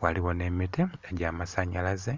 Ghaligho n'emiti egyamasanalaze